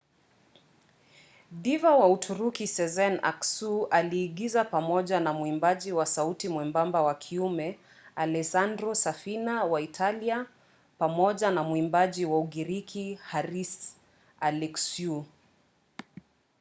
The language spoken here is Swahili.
diva wa uturuki sezen aksu aliigiza pamoja na mwimbaji wa sauti mwembamba wa kiume alessandro safina wa italia pamoja na mwimbaji wa ugiriki haris alexiou